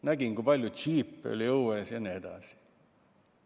Nägin, kui palju džiipe oli õues, ja nii edasi.